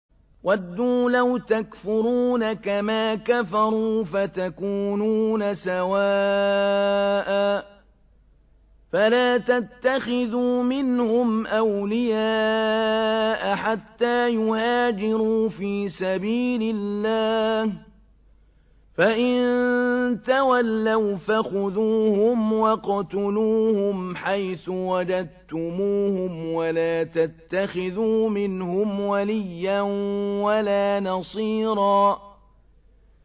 وَدُّوا لَوْ تَكْفُرُونَ كَمَا كَفَرُوا فَتَكُونُونَ سَوَاءً ۖ فَلَا تَتَّخِذُوا مِنْهُمْ أَوْلِيَاءَ حَتَّىٰ يُهَاجِرُوا فِي سَبِيلِ اللَّهِ ۚ فَإِن تَوَلَّوْا فَخُذُوهُمْ وَاقْتُلُوهُمْ حَيْثُ وَجَدتُّمُوهُمْ ۖ وَلَا تَتَّخِذُوا مِنْهُمْ وَلِيًّا وَلَا نَصِيرًا